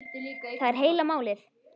Það er heila málið!